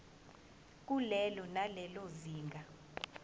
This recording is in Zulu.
kulelo nalelo zinga